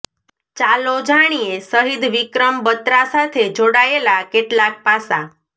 ચાલો જાણીએ શહીદ વિક્રમ બત્રા સાથે જોડાયેલા કેટલાક પાસાં